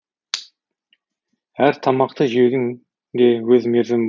әр тамақты жеудің де өз мерзімі